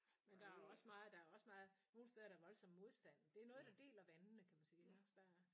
Men der også meget der også meget nogen steder er der voldsom modstand det noget der deler vandene kan man sige iggås der